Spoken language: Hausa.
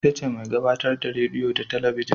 Ita ce mai gabatar da rediyo da talabijin